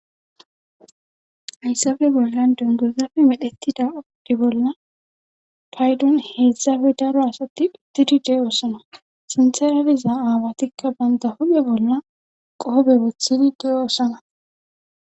Haysabe bolla dungozafe medhettida oddi bolla paydon heedzdsabe daro asatti pitidi deoosana sintheraliza aawatikka banta hoghe bolla qoobe bothidi deyoosana